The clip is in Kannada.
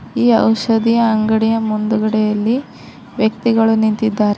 ಈ ಔಷಧಿಯ ಅಂಗಡಿಯ ಮುಂದುಗಡೆಯಲ್ಲಿ ವ್ಯಕ್ತಿಗಳು ನಿಂತಿದ್ದಾರೆ.